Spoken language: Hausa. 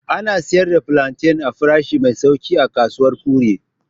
Ana sayar da plantain a farashi mai sauƙi a kasuwar kure.